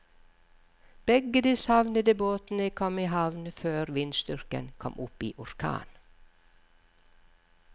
Begge de savnede båtene kom i havn før vindstyrken kom opp i orkan.